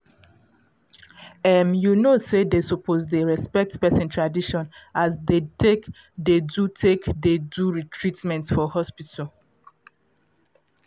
em you know say dey suppose dey respect person tradition as dey take dey do take dey do treatment for hospital